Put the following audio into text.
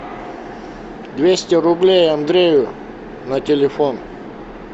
двести рублей андрею на телефон